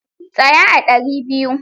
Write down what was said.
Tsaya a ɗari biyu!